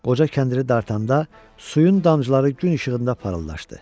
Qoca kəndiri dartanda, suyun damcıları gün işığında parıldaşdı.